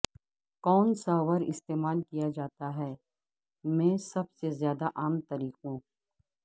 کون ساور استعمال کیا جاتا ہے میں سب سے زیادہ عام طریقوں